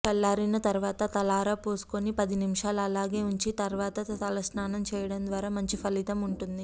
చల్లారిన తర్వాత తలారా పోసుకొని పది నిముషాలు అలాగే ఉంచి తర్వాత తలస్నానం చేయడం ద్వారా మంచిఫలితం ఉంటుంది